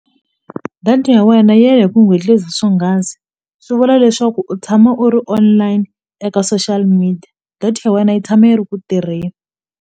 Data ya wena ya ya hi ku swonghasi swi vula leswaku u tshama u ri online eka social media data ya wena yi tshama yi ri ku tirheni.